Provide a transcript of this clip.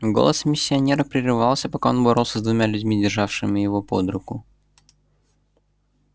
голос миссионера прерывался пока он боролся с двумя людьми державшими его под руку